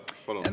Aitäh!